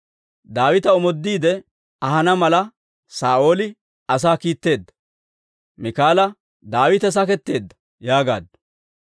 Daawita omoodiide ahana mala, Saa'ooli asaa kiitteedda; Miikaala, «Daawite saketteedda» yaagaaddu.